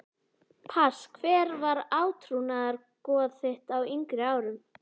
Pass Hver var átrúnaðargoð þitt á yngri árum?